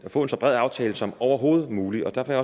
få en så bred aftale som overhovedet muligt derfor